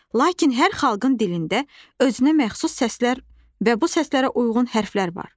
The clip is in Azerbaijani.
Lakin hər xalqın dilində özünə məxsus səslər və bu səslərə uyğun hərflər var.